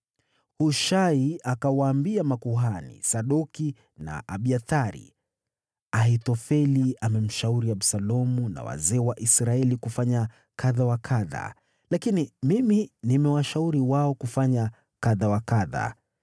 Hushai akawaambia makuhani Sadoki na Abiathari, “Ahithofeli amemshauri Absalomu na wazee wa Israeli kufanya kadha wa kadha, lakini mimi nimewashauri wao kufanya kadha wa kadha.